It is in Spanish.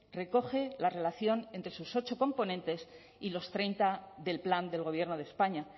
recoge la relación entre sus ocho componentes y los treinta del plan del gobierno de españa